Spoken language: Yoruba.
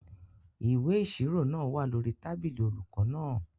Ìwé ìṣirò náà wà lórí tábìlì olùkọ náà.